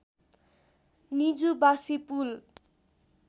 निजुबासी पुल